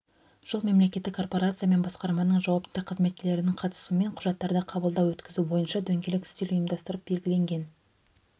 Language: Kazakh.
жыл мемлекеттік корпорация мен басқарманың жауапты қызметкерлерінің қатысуымен құжаттарды қабылдау-өткізу бойынша дөңгелек үстел ұйымдастырылып белгіленген